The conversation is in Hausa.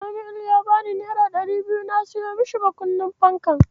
Samuel ya bani naira ɗari biyu na siyo masa makunnin fanka.